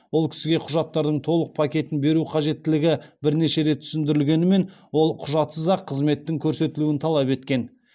ол кісіге құжаттардың толық пакетін беру қажеттілігі бірнеше рет түсіндірілгенімен ол құжатсыз ақ қызметтің көрсетілуін талап еткен